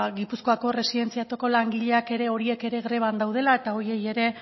gipuzkoako erresidentzietako langileak ere horiek ere greban daudela eta horiei ere